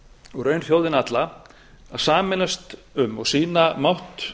og í raun þjóðina alla að sameinast um og sýna mátt